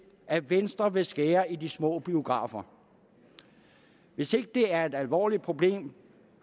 at venstre vil skære i de små biografer hvis ikke det er et alvorligt problem